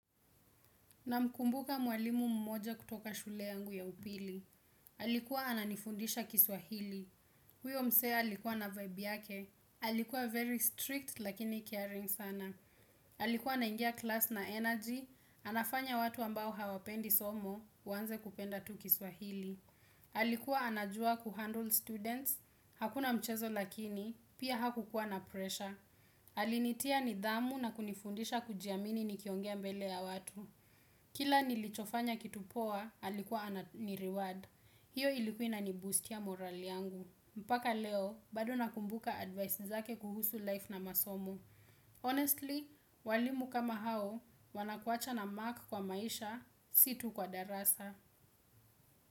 Namkumbuka mwalimu mmoja kutoka shule yangu ya upili. Alikuwa ananifundisha kiswahili. Huyo mse alikuwa na vibe yake. Alikuwa very strict lakini caring sana. Alikuwa anaingia class na energy. Anafanya watu ambao hawapendi somo, waanze kupenda tu kiswahili. Alikuwa anajua kuhandle students. Hakuna mchezo lakini, pia haku kukua na pressure. Alinitia nidhamu na kunifundisha kujiamini nikiongea mbele ya watu. Kila nilichofanya kitu poa, alikuwa ni reward. Hiyo iliku inani boost ya morali yangu. Mpaka leo, bado nakumbuka advice zake kuhusu life na masomu. Honestly, walimu kama hao, wanakuacha na mark kwa maisha, si tu kwa darasa.